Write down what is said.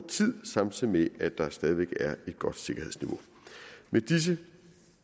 tid samtidig med at der stadig er et godt sikkerhedsniveau med disse